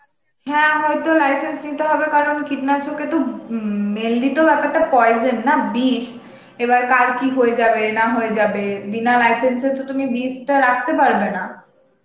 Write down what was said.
হ্যাঁ হয়ত license নিতে হবে কারণ কীটনাশক এ তো উব উম mainly তো বেপারটা poison না বিশ, এবার কার কি হয়ে যাবে না হয়ে যাবে বিনা license এ তো তুমি বিশটা রাখতে পারবে না